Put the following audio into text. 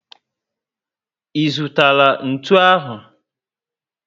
I zụtara ntụ ahụ?